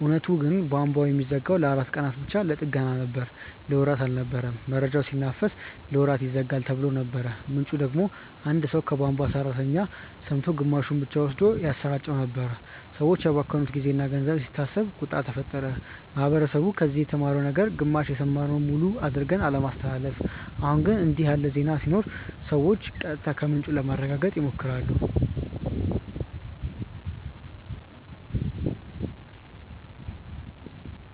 እውነቱ ግን ቧንቧው የሚዘጋው ለአራት ቀናት ብቻ ለጥገና ነበር። ለወራት አልነበረም። መረጃው ሲናፈስ "ለወራት ይዘጋል"ተብሎ ነበር፣ ምንጩ ደግሞ አንድ ሰው ከቧንቧ ሠራተኛ ሰምቶ ግማሹን ብቻ ወስዶ ያሰራጨው ነበር። ሰዎች ያባከኑት ጊዜና ገንዘብ ሲታሰብ ቁጣ ተፈጠረ። ማህበረሰቡ ከዚህ የተማረው ነገር ግማሽ የሰማነውን ሙሉ አድርገን አለማስተላለፍ። አሁን ግን እንዲህ ያለ ዜና ሲኖር ሰዎች ቀጥታ ከምንጩ ለማረጋገጥ ይሞክራሉ